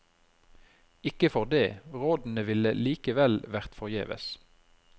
Ikke for det, rådene ville likevel vært forgjeves.